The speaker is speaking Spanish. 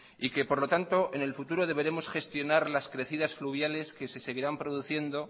por lo tanto en el futuro deberemos gestionar las crecidas fluviales que se seguirán produciendo